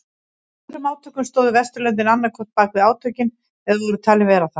Í öðrum átökum stóðu Vesturlöndin annað hvort bakvið átökin eða voru talin vera það.